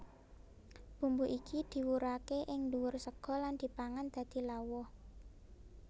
Bumbu iki diwurake ing ndhuwur sega lan dipangan dadi lawuh